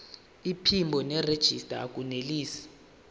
iphimbo nerejista akunelisi